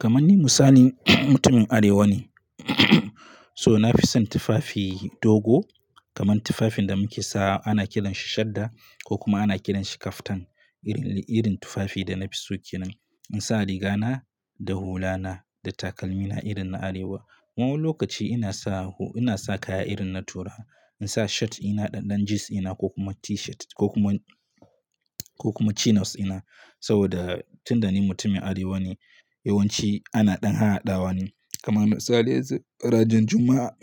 Kaman ni misali mutumin Arewa ne, so na fi son tufafi dogo, kaman tufafin da muke sawa ana kiran shi shadda, ko kuma ana kiran shi kaftan. Irin tufafi da na fi so kenan. In sa riga na, da hula na, da takalmi na irin na Arewa. Wani lokaci ina sa, ina sa kaya irin na turawa. In sa shirt ina ɗan-ɗan jeans ina, ko kuma T-shirt, ko kuma, ko kuma chinos ɗina, saboda tunda ni mutumin Arewa ne, yawanci ana ɗan haɗawa ne. Kamar misali yanzu ranar Juma'a,